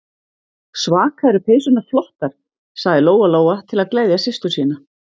Svaka eru peysurnar flottar, sagði Lóa-Lóa til að gleðja systur sína.